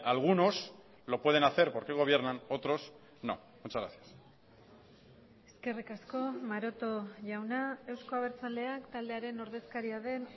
algunos lo pueden hacer porque gobiernan otros no muchas gracias eskerrik asko maroto jauna euzko abertzaleak taldearen ordezkaria den